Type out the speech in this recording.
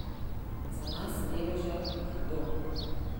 Za nas, reveže, je hudo.